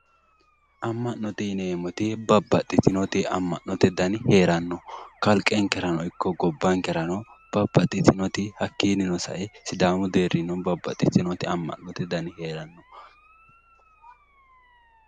Ama'note yineemoti babbaxitinoti ama'note dani heerano, kaliqenikerano iko gobankera babbaxitinoti hakiinino sae sidaamu deerino babbaxitinoti ama'note dani heerano